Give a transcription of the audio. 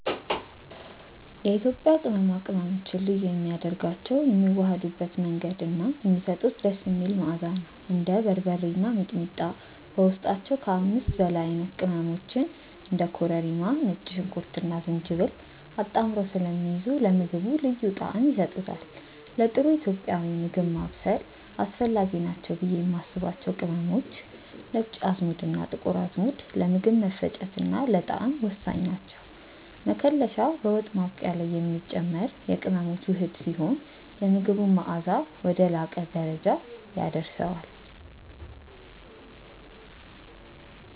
የኢትዮጵያ ቅመማ ቅመሞችን ልዩ የሚያደርጋቸው የሚዋሃዱበት መንገድ እና የሚሰጡት ደስ የሚል መዓዛ ነው። እንደ በርበሬ እና ሚጥሚጣ በውስጣቸው ከ5 በላይ አይነት ቅመሞችን (እንደ ኮረሪማ፣ ነጭ ሽንኩርትና ዝንጅብል) አጣምረው ስለሚይዙ ለምግቡ ልዩ ጣዕም ይሰጡታል። ለጥሩ ኢትዮጵያዊ ምግብ ማብሰል አስፈላጊ ናቸው ብዬ የማስባቸው ቅመሞች፦ ነጭ አዝሙድና ጥቁር አዝሙድ፦ ለምግብ መፈጨትና ለጣዕም ወሳኝ ናቸው። መከለሻ፦ በወጥ ማብቂያ ላይ የሚጨመር የቅመሞች ውህድ ሲሆን፣ የምግቡን መዓዛ ወደ ላቀ ደረጃ ያደርሰዋል።